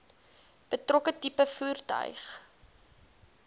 betrokke tipe voertuig